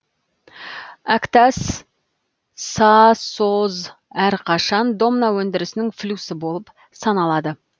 әктас сасо әрқашан домна өндірісінің флюсі болып саналады